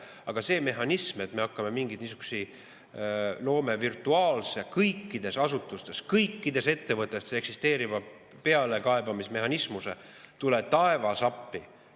Aga see, et me hakkame mingeid niisuguseid, loome kõikides asutustes, kõikides ettevõtetes virtuaalse pealekaebamismehhanismuse – tule taevas appi!